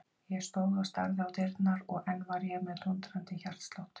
Ég stóð og starði á dyrnar og enn var ég með dúndrandi hjartslátt.